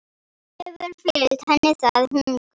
Hefur fylgt henni það hungur.